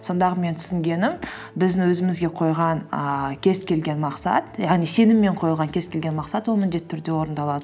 сондағы менің түсінгенім біздің өзімізге қойған ііі кез келген мақсат яғни сеніммен қойылған кез келген мақсат ол міндетті түрде орындалады